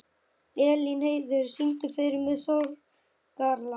Elínheiður, syngdu fyrir mig „Sorgarlag“.